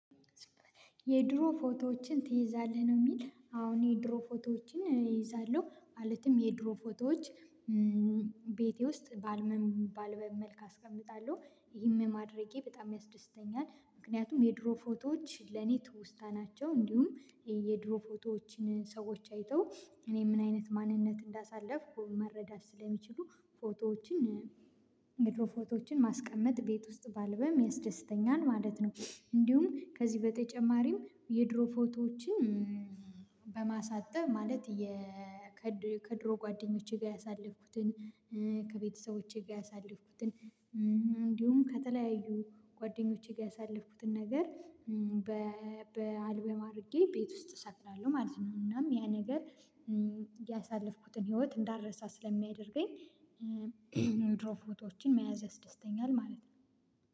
የድሮ ፎቶዎችን ትይዛለህ ነው? የሚል አሁን የድሮ ፎቶዎችን እይዛለሁ ማለትም የድሮ ፎቶዎች ቤቴ ውስጥ ባልበል አስቀምጣለሁ ይህን ማድረጌ በጣም ያስደስተኛል። ምክንያቱም የድሮ ፎቶዎች ለኔ ትውስታ ናቸው። እንዲሁም የድሮ ፎቶዎችን ሰዎች አይተው እኔ ምን አይነት ማንነት እንዳሳለፍኩ መረዳት ስለሚችሉ ፎቶዎችን የድሮ ፎቶዎችን ማስቀመጥ ቤት ውስጥ ባልበም ያስደስተኛል ማለት ነው። እንዲሁም ከዚህ በተጨማሪም የድሮ ፎቶዎችን በማሳጠብ ማለት የ ከድሮ ጓደኞቼ ጋር ያሳለፍኩትን ከቤተሰቦቼ ጋር ያሳለፍኩትን እንዲሁም ከተለያዩ ጓደኞቼ ጋር ያሳለፍኩትን ነገር በ በአልበም አድርጌ ቤት ውስጥ እሰቅላለሁ ማለት ነው። እናም ያ ነገር ያሳለፍኩትን ህይወት እንዳረሳ ስለሚያደርገኝ። የድሮ ፎቶዎችን መያዝ ያስደስተኛል ማለት ነው።